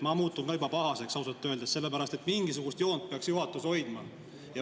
Ma muutun ka juba pahaseks ausalt öeldes, sellepärast et mingisugust joont peaks juhatus hoidma.